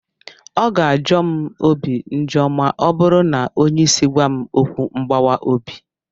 Ọ ga-ajọ m obi njọ ma ọ bụrụ na onye isi gwam okwu mgbawa obi.